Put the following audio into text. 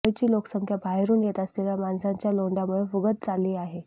मुंबईची लोकसंख्या बाहेरून येत असलेल्या माणसांच्या लोंढयामुळे फुगत चालली आहे